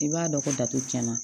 I b'a dɔn ko datugula